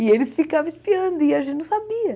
E eles ficavam espiando, e a gente não sabia.